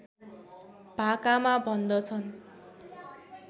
भाकामा भन्दछन्